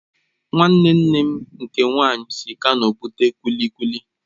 Nwanne nne m nke nwaanyị si Kano bute kulikuki